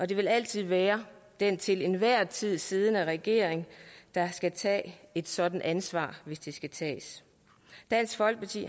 det vil altid være den til enhver tid siddende regering der skal tage et sådant ansvar hvis det skal tages dansk folkeparti